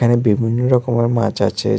এখানে বিভিন্ন রকমের মাছ আছে যে--